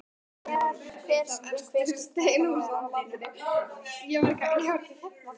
Og hver skyldi þetta nú vera?